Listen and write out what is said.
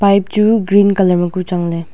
pipe chu green colour ma ku changley.